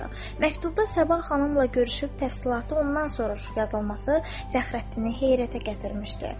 Məktubda Səbah xanımla görüşüb təfsilatı ondan soruş yazılması Fəxrəddini heyrətə gətirmişdi.